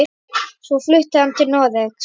Svo flutti hann til Noregs.